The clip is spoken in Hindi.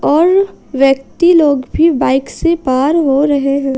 और व्यक्ति लोग भी बाइक से पार हो रहे हैं।